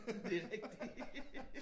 Det er rigtigt!